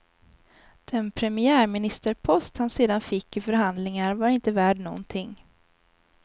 Den premiärministerpost han sedan fick i förhandlingar var inte värd någonting.